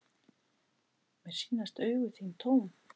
Mér sýnast augu þín tóm.